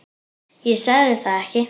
Ég sagði það ekki.